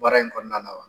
Baara in kɔnɔna la wa